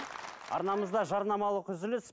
арнамызда жарнамалық үзіліс